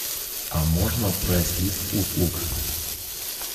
а можно прайс лист услуг